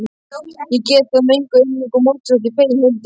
Ég get það með engu móti, þótt ég feginn vildi.